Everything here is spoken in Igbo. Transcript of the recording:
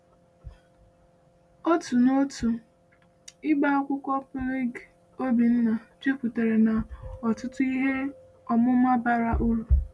Otu n’otu ibe akwụkwọ Polyg Obinna juputara na ọtụtụ ihe ọmụma bara uru.